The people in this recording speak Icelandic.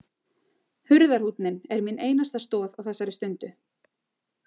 Hurðarhúnninn er mín einasta stoð á þessari stundu.